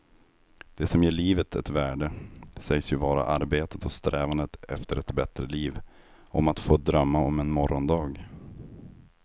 Det som ger livet ett värde sägs ju vara arbetet och strävandet efter ett bättre liv, om att få drömma om en morgondag.